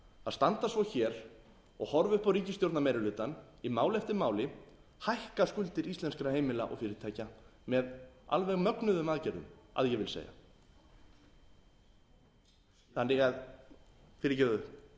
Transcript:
að standa svo hér og horfa upp á ríkisstjórnarmeirihlutann í máli eftir mál hækka skuldir íslenskra heimila og fyrirtækja með alveg mögnuðum aðgerðum að ég vil segja